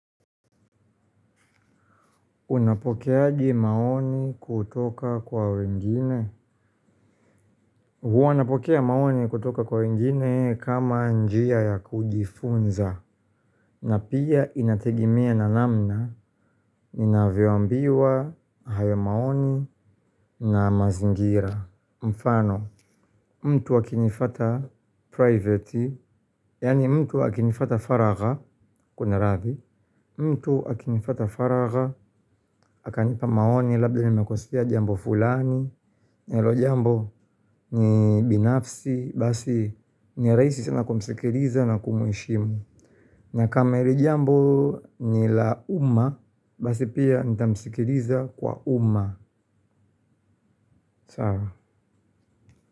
Unapokeaje maoni kutoka kwa wengine? Huwa napokea maoni kutoka kwa wengine kama njia ya kujifunza na pia inategemea na namna ninavyoambiwa hayo maoni na mazingira. Mfano, mtu akinifuata privati, yaani mtu akinifuata faragha, kuna radhi. Mtu akinifuata faraga, akanipa maoni labda nimekosea jambo fulani. Nalo jambo ni binafsi, basi ni rahisi sana kumsikiliza na kumheshimu. Na kama hili jambo ni la uma, basi pia nitamskiliza kwa uma. Sawa.